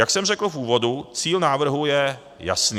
Jak jsem řekl v úvodu, cíl návrhu je jasný.